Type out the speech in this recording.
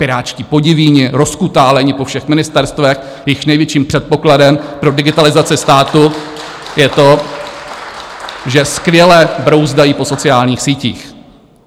Pirátští podivíni, rozkutálení po všech ministerstvech, jejichž největším předpokladem pro digitalizaci státu je to, že skvěle brouzdají po sociálních sítích.